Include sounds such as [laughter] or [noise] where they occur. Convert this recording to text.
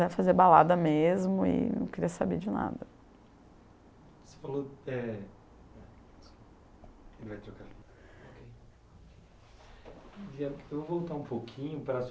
fazer balada mesmo e não queria saber de nada. Você falou é... [unintelligible] Vou voltar um pouquinho para a